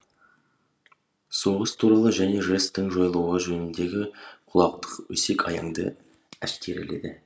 соғыс туралы және жэс тің жойылуы жөніндегі кулактық өсек аяңды әшкереледі